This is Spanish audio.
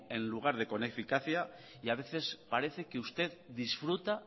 en lugar de con eficacia y a veces parece que usted disfruta